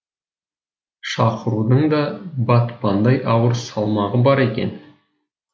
шақырудың да батпандай ауыр салмағы бар екен